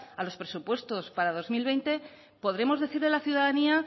a los presupuestos para dos mil veinte podremos decirle a la ciudadanía